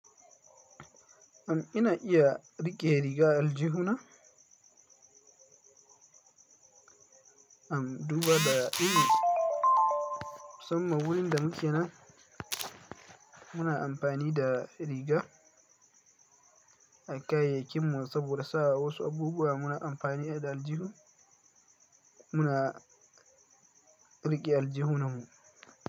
Am ina iya rike riga aljihuna? Am duba da inu, samma wuri da nake nan muna amfani da riga a kayayyakin mu saboda sa wasu abubuwa muna amfani da aljihu, muna riƙe aljihunan mu.